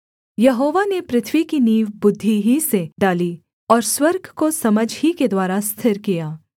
यहोवा ने पृथ्वी की नींव बुद्धि ही से डाली और स्वर्ग को समझ ही के द्वारा स्थिर किया